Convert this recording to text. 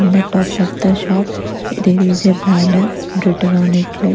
On the top of the shop there is a banner written on it like--